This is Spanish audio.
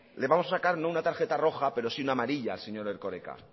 le vamos a sacar no una tarjeta roja pero sí una amarilla al señor erkoreka